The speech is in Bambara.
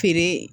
Feere